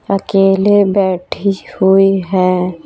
अकेले बैठी हुई है।